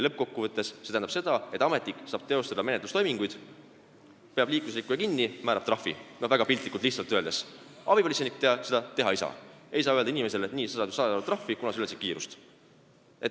Lõppkokkuvõttes tähendab see seda, et ametnik saab teha menetlustoiminguid, ta peab liiklusrikkuja kinni ja määrab trahvi – väga lihtsalt öeldes –, abipolitseinik seda aga teha ei saa, ta ei saa öelda inimesele, et see saab 100 eurot trahvi, kuna ületas kiirust.